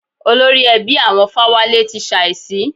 Olórí ẹbí àwọn Fáwálé ti ṣàísí.